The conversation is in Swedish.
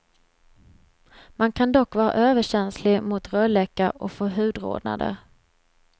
Man kan dock vara överkänslig mot rölleka och få hudrodnader.